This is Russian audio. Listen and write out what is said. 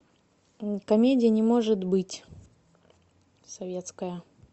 комедия не может быть советская